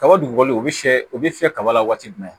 Kaba dugukolo u bɛ fiyɛ u bɛ fiyɛ kaba la waati jumɛn